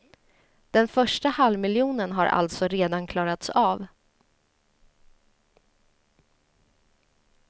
Den första halvmiljonen har alltså redan klarats av.